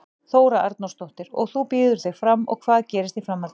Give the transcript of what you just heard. Þóra Arnórsdóttir: Og þú býður þig fram og hvað gerist í framhaldinu?